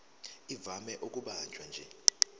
ivame ukubanjwa nje